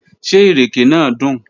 Ṣé ìrèké náà dùn?